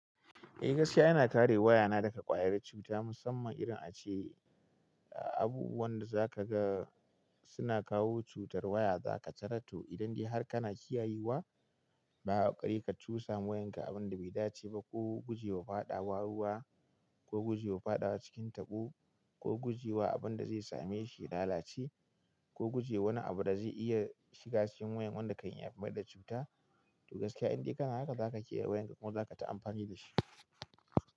Eh gaskiya ina kare wayana daga ƙwayar cuta musamman idan ace abubuwan da zaka ga suna kawo cutar waya za ka tarato idan dai har kana kiyayewa, ba a ƙare ka cusa wayan ka abinda bai dace ba ko guje wa faɗa wa ruwa ko guje wa faɗawa cikin taɓo ko guje wa abunda zai same shi lalaci, ko guje wani abu da zai iya shiga cikin wayan wanda kan iya bada cuta, to gaskiya indai kana haka zaka kiyaye wayan ka kuma zaka ta amfani dashi.